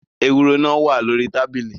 Ewúro náà wá lórí tábìlì.